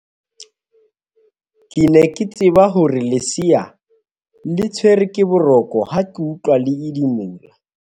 ke ne ke tseba hore lesea le tshwerwe ke boroko ha ke utlwa le edimola